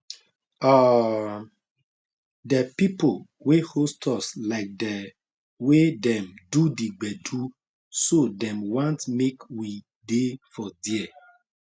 um de pipo wey host us like de wey dem do the gbedu so dem want make we dey for there